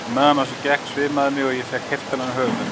Á meðan á þessu gekk svimaði mig og ég fékk heiftarlegan höfuðverk.